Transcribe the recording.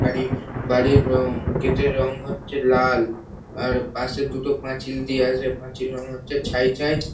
বাড়ি বাড়ির রং গেট -এর রং হচ্ছে লাল আর পাশে দুটো পাঁচিল দেওয়া আছে পাঁচিলের রং হচ্ছে ছাই ছাই ।